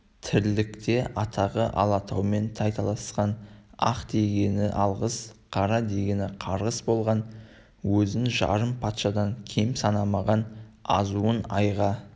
тірлікте атағы алатаумен тайталасқан ақ дегені алғыс қара дегені қарғыс болған өзін жарым патшадан кем санамаған азуын айға